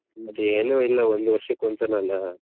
ಮತ್ತೆ ಏನು ಇಲ್ಲ ಒಂದ್ ವರ್ಷಕ್ಕೆ ಒಂದ್ ಸಲ ಅಲ್ಲ.